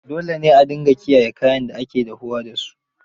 Dole a dinga kiyaye kayan da ake dahuwa da su.